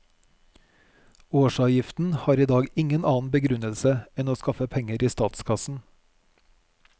Årsavgiften har i dag ingen annen begrunnelse enn å skaffe penger i statskassen.